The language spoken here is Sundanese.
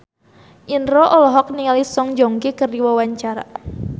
Indro olohok ningali Song Joong Ki keur diwawancara